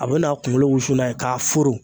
A bɛ n'a kunkolo wusu n'a ye k'a foro